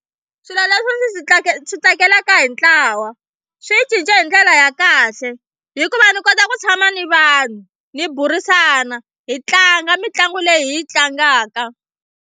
Swilo leswi swi swi tsakelaka hi ntlawa swi ni cince hi ndlela ya kahle hikuva ndzi kota ku tshama ni vanhu hi burisana hi tlanga mitlangu leyi hi yi tlangaka.